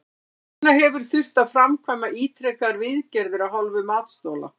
Hvers vegna hefur þurft að framkvæma ítrekaðar viðgerðir af hálfu matsþola?